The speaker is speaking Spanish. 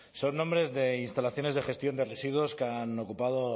son nombres de instalaciones de gestión de residuos que han ocupado